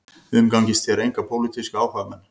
Umgangist þér enga pólitíska áhugamenn